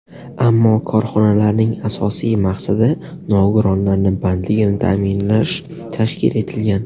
Ammo korxonalarning asosiy maqsadi nogironlarni bandligini ta’minlash tashkil etilgan.